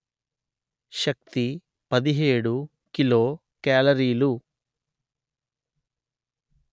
శక్తి పదిహేడు కిలో కాలరీలు